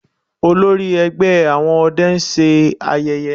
Olórí ẹgbẹ́ àwọn ọdẹ ń ṣayẹyẹ